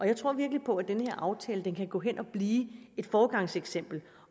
jeg tror virkelig på at den her aftale kan gå hen og blive et foregangseksempel